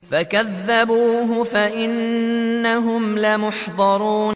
فَكَذَّبُوهُ فَإِنَّهُمْ لَمُحْضَرُونَ